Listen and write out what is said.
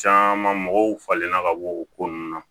Caman mɔgɔw falenna ka bɔ o ko nunnu na